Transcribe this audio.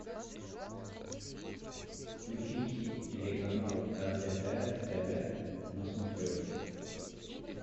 включи телеканал лдпр тв на смотрешке